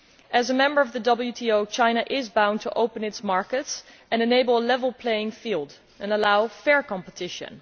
As a member of the WTO, China is bound to open its markets, enable a level playing field and allow fair competition.